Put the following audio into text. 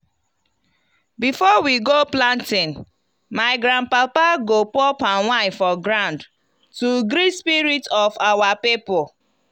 before we go planting my grandpapa go pour palm wine for ground to greet spirit of our people.